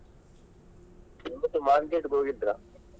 ಇವತ್ತು market ಗೆ ಹೋಗಿದ್ರಾ ?